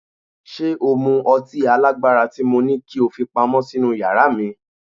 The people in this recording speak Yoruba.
Ṣé o mú ọtí alágbára tí mo ní kí ó fi pamọ́ sínú yàrá mi?